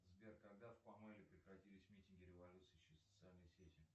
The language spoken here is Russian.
сбер когда в памеле прекратились митинги революции через социальные сети